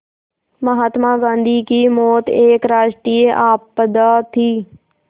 महात्मा गांधी की मौत एक राष्ट्रीय आपदा थी